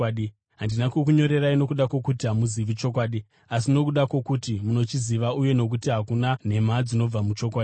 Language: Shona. Handina kukunyorerai nokuda kwokuti hamuzivi chokwadi, asi nokuda kwokuti munochiziva uye nokuti hakuna nhema dzinobva muchokwadi.